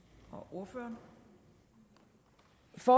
ordføreren for